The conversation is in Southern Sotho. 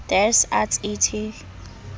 des arts et